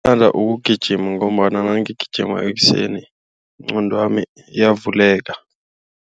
Bathanda ukugijima ngombana nangigijima ekuseni inqondo yami iyavuleka.